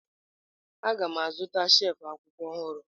Aga m azụta shelf akwụkwọ ọhụrụ.